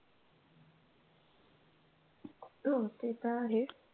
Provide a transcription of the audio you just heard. हो ते तर आहे.